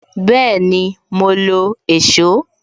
Bẹẹni, mo lo èsó